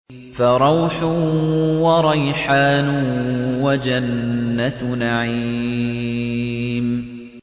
فَرَوْحٌ وَرَيْحَانٌ وَجَنَّتُ نَعِيمٍ